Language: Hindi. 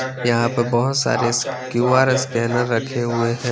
यहाँ पे बहुत सारे क्यू आर स्कैनर रखे हुए है --